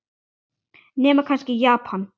Nema kannski í Japan.